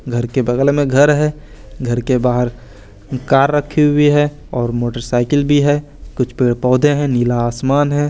घर के बगल में घर है घर के बाहर कार रखी हुई है और मोटरसाइकिल भी है कुछ पेड़ पौधे हैं नीला आसमान है।